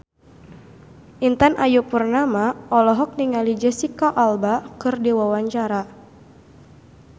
Intan Ayu Purnama olohok ningali Jesicca Alba keur diwawancara